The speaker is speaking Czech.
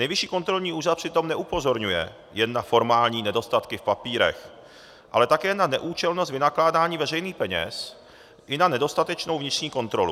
Nejvyšší kontrolní úřad přitom neupozorňuje jen na formální nedostatky v papírech, ale také na neúčelnost vynakládání veřejných peněz i na nedostatečnou vnitřní kontrolu.